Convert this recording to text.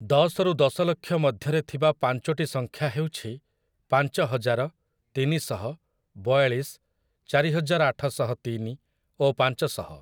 ଦଶରୁ ଦଶ ଲକ୍ଷ ମଧ୍ୟରେ ଥିବା ପାଞ୍ଚୋଟି ସଂଖ୍ୟା ହେଉଛି ପାଞ୍ଚହଜାର, ତିନିଶହ, ବୟାଳିଶ, ଚାରିହଜାର ଆଠଶହତିନି ଓ ପାଞ୍ଚଶହ ।